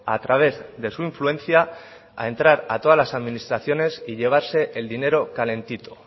a través de su influencia a entrar a todas las administraciones y llevarse el dinero calentito